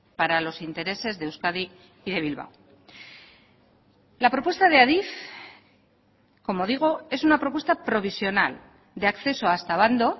para los intereses de euskadi y de bilbao la propuesta de adif como digo es una propuesta provisional de acceso hasta abando